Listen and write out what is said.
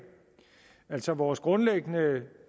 altså vores grundlæggende